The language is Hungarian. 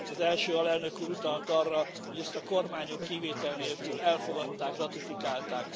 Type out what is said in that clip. Az első alelnök úr utalt arra, hogy ezt a kormányok kivétel nélkül elfogadták, ratifikálták.